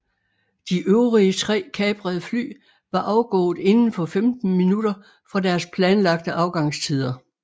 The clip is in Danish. De øvrige tre kaprede fly var afgået inden for femten minutter fra deres planlagte afgangstider